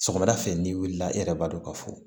Sɔgɔmada fɛ n'i wulila i yɛrɛ b'a dɔn ka fɔ